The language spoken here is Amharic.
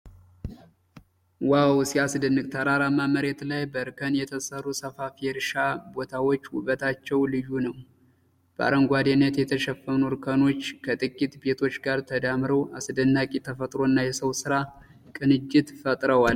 ዋው ሲያስደንቅ! ተራራማ መሬት ላይ በእርከን የተሰሩ ሰፋፊ የእርሻ ቦታዎች ውበታቸው ልዩ ነው። በአረንጓዴነት የተሸፈኑ እርከኖች ከጥቂት ቤቶች ጋር ተዳምረው አስደናቂ የተፈጥሮና የሰው ስራ ቅንጅት ፈጥረዋል።